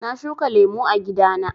Na shuka lemu a gida na.